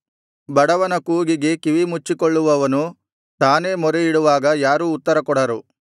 ಬಡವನ ಕೂಗಿಗೆ ಕಿವಿಮುಚ್ಚಿಕೊಳ್ಳುವವನು ತಾನೇ ಮೊರೆಯಿಡುವಾಗ ಯಾರೂ ಉತ್ತರಕೊಡರು